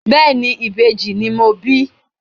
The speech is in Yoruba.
Bẹ́ẹ̀ni, ìbejì ni mo bí.